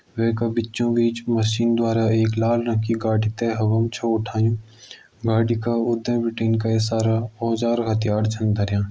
वै का बीचों बिच मशीन द्वारा एक लाल रंग की गाड़ी ते हवा मा छ उठायूं गाड़ी का उंडे बिटिन कई सारा औजार हत्यार छन धर्यां।